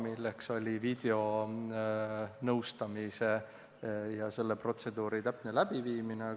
Esiteks, videonõustamise ja selle protseduuri täpne läbiviimine.